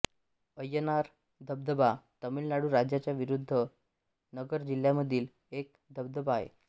अय्यनार धबधबा तामिळ नाडू राज्याच्या विरुधु नगर जिल्ह्यामधील एक धबधबा आहे